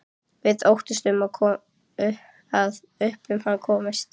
Við óttumst að upp um hann komist.